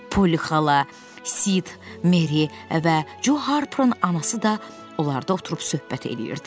Polli xala, Sid, Meri və Co Harperin anası da onlarda oturub söhbət eləyirdilər.